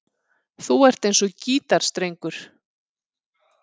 Þú ert eins og gítarstrengur.